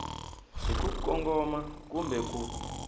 hi ku kongoma kumbe ku